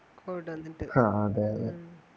covid വന്നിട്ട് അതെ അതെ